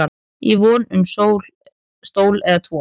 í von um stól eða tvo